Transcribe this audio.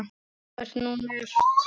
Það er nú margt.